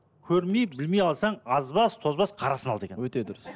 көрмей білмей алсаң азбас тозбас қарасын ал деген өте дұрыс